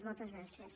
moltes gràcies